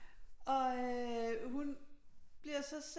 Og øh hun bliver så